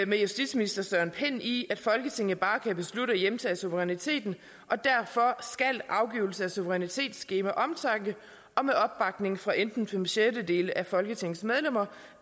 med justitsministeren i at folketinget bare kan beslutte at hjemtage suveræniteten og derfor skal afgivelse af suverænitet ske med omtanke og med opbakning fra enten fem sjettedele af folketingets medlemmer